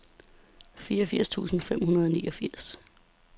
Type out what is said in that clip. femogfirs tusind fem hundrede og niogfirs